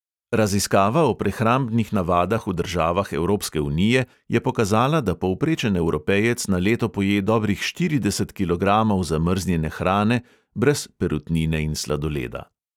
Raziskava o prehrambnih navadah v državah evropske unije je pokazala, da povprečen evropejec na leto poje dobrih štirideset kilogramov zamrznjene hrane, brez perutnine in sladoleda.